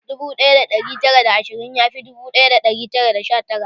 Dubu ɗaya da ɗari tara da ashirin yafi dubu ɗaya da ɗari tara da sha tara